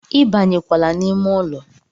ibanyekwala n'ime ụlọ